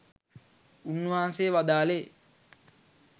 උන්වහන්සේ වදාළේ